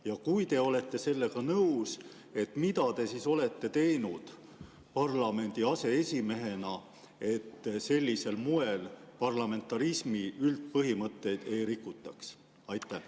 Ja kui te olete sellega nõus, siis mida te olete teinud parlamendi aseesimehena, et sellisel moel parlamentarismi üldpõhimõtteid ei rikutaks?